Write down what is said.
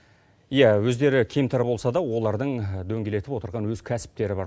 иә өздері кемтар болса да олардың дөңгелетіп отырған өз кәсіптері бар